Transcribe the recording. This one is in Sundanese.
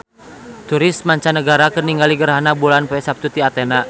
Turis mancanagara keur ningali gerhana bulan poe Saptu di Athena